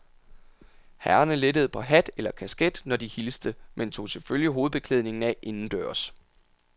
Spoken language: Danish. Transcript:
Herrerne lettede på hat eller kasket, når de hilste, men tog selvfølgelig hovedbeklædningen af indendørs.